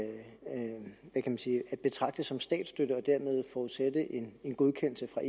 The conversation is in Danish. betragte som statsstøtte og dermed forudsætte en godkendelse fra